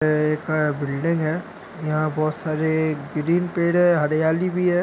यह बहुत बड़ी बिल्डिंग है यहा बहुत सारी ग्रीन पेड़ है हरियाली भी है।